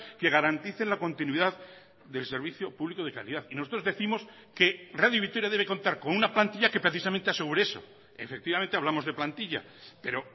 que garanticen la continuidad del servicio público de calidad y nosotros décimos que radio vitoria debe contar con una plantilla que precisamente asegure eso efectivamente hablamos de plantilla pero